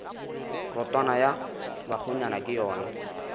rotwane ya bakgonyana ke yona